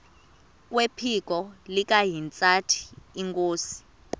kwephiko likahintsathi inkosi